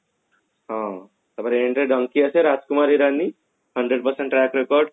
ହଁ ତ Rajkumar Irani hundred percent